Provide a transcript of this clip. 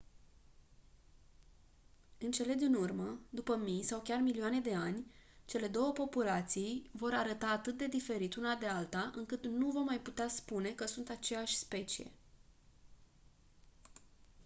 în cele din urmă după mii sau chiar milioane de ani cele două populații vor arăta atât de diferit una de alta încât nu vom mai putea spune că sunt aceeași specie